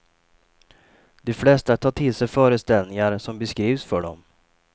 De flesta tar till sig föreställningar som beskrivs för dem.